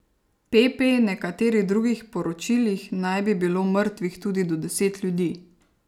Pp nekaterih drugih poročilih naj bi bilo mrtvih tudi do deset ljudi.